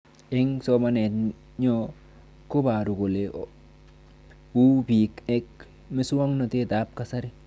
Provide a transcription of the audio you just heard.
Eng' somanet nyo koparu kole ole uu pik ak muswog'natet ab kasari